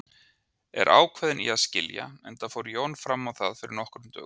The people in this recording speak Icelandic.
Er ákveðin í að skilja, enda fór Jón fram á það fyrir nokkrum dögum.